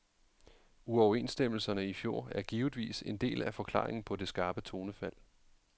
Uoverenstemmelserne i fjor er givetvis en del af forklaringen på det skarpe tonefald.